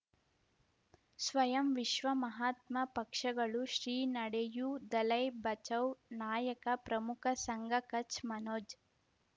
ಸ್ವಯಂ ವಿಶ್ವ ಮಹಾತ್ಮ ಪಕ್ಷಗಳು ಶ್ರೀ ನಡೆಯೂ ದಲೈ ಬಚೌ ನಾಯಕ ಪ್ರಮುಖ ಸಂಘ ಕಚ್ ಮನೋಜ್